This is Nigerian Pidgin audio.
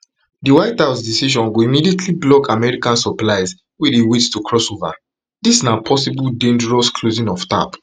di white house decision go immediately block american supplies wey dey wait to cross over dis na possible dangerous closing off tap